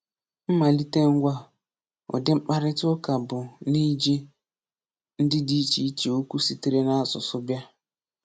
Mmalite ngwa udi mkpàrịtà ụ́ká bụ́ n’iji ndị dị iche iche okwu sitere n’asụ̀sụ́ bịa.